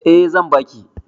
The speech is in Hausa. Eh zan baki